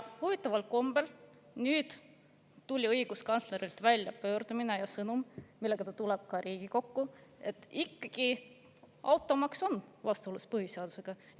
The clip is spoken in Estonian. Huvitaval kombel tuli nüüd õiguskantslerilt pöördumine ja sõnum, millega ta tuleb ka Riigikokku, et automaks ikkagi on vastuolus põhiseadusega.